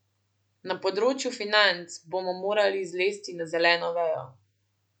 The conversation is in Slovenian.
Na področju financ bomo morali zlesti na zeleno vejo.